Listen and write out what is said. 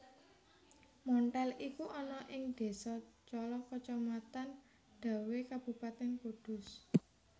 Monthel iku ana ing désa Cala kacamatan Dawé Kabupatèn Kudus